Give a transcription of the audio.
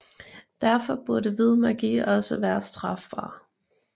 Derfor burde hvid magi også være strafbar